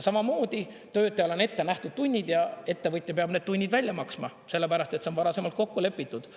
Samamoodi töötajale on ette nähtud tunnid ja ettevõtja peab need tunnid välja maksma, sellepärast et see on varasemalt kokku lepitud.